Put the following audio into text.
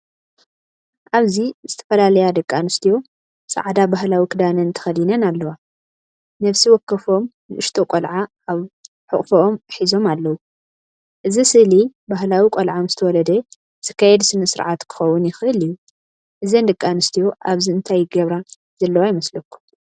ኣብዚ ዝተፈላለያ ደቂ ኣንስትዮ ጻዕ ባህላዊ ክዳንን ተኸዲነን ኣለዋ። ነፍሲ ወከፎም ንእሽቶ ቆልዓ ኣብ ሕቑፎም ሒዞም ኣለዉ። እዚ ስእሊ ባህላዊ ቆልዓ ምስተወልደ ዝካየድ ስነ-ስርዓት ክኸውን ይኽእል እዩ። እዘን ደቂ ኣንስትዮ ኣብዚ እንታይ ይገብራ ዘለዋ ይመስለኩም?